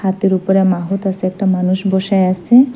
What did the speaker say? হাতির ওপরে মাহূত বসে আসে একটা মানুষ বসে আসে।